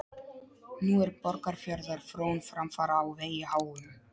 Nú er Borgarfjarðar frón framfara á vegi háum.